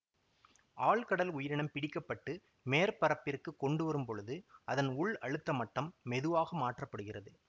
ஆழ்கடல் உயிரினம் பிடிக்க பட்டு மேற்பரப்பிற்குக் கொண்டுவரும் பொழுது அதன் உள் அழுத்த மட்டம் மெதுவாக மாற்ற படுகிறது